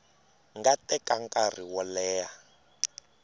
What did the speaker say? nga teka nkarhi wo leha